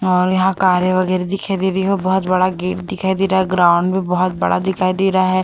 और यहां कारें वगैरह दिखाई दे रही है बहुत बड़ा गेट दिखाई दे रहा है ग्राउंड भी बहुत बड़ा दिखाई दे रहा है।